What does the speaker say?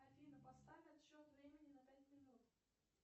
афина поставь отсчет времени на пять минут